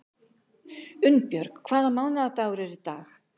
Unnbjörg, hvaða mánaðardagur er í dag?